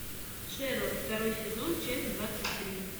шерлок второй сезон часть двадцать три